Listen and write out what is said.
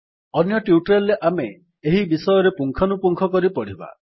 ଅନ୍ୟ ଟ୍ୟୁଟୋରିଆଲ୍ ରେ ଆମେ ଏହି ବିଷୟରେ ପୁଙ୍ଖାନୁପୁଙ୍ଖ କରି ପଢିବା